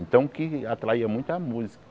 Então, o que atraía muito é a música.